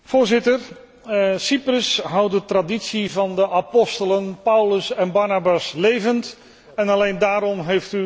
Cyprus houdt de traditie van de apostelen Paulus en Barnabas levend en alleen daarom heeft u onze sympathie.